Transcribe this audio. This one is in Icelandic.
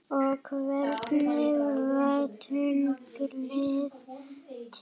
og Hvernig varð tunglið til?